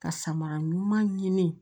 Ka samara ɲuman ɲini